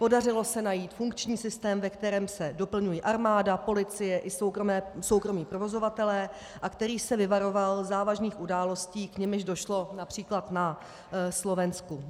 Podařilo se najít funkční systém, ve kterém se doplňuje armáda, policie i soukromí provozovatelé a který se vyvaroval závažných událostí, k nimž došlo například na Slovensku.